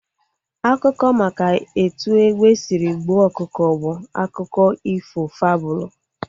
Akụkọ maka etu egbe sịrị gbuo ọkụkọ bụ akụkọ ifo fabụlu